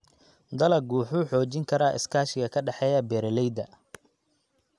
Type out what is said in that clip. Dalaggu wuxuu xoojin karaa iskaashiga ka dhexeeya beeralayda.